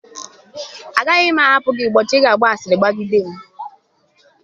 Agaghị m ahapụ gị ụbọchị ị ga-agba asịrị gbagide m.